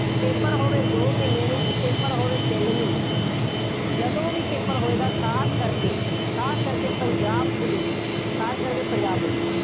paper ਹੋਵੇ, ਦੋ ਮਹੀਨੇ ਨੂੰ, paper ਹੋਵੇ ਤਿੰਨ ਮਹੀਨੇ ਨੂੰ, ਜਦੋਂ ਵੀ paper ਹੋਏਗਾ, ਖਾਸ ਕਰਕੇ, ਖਾਸ ਕਰਕੇ ਪੰਜਾਬ ਪੁਲਿਸ, ਖਾਸ ਕਰਕੇ ਪੰਜਾਬ ਪੁਲਿਸ,